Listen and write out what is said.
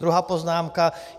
Druhá poznámka.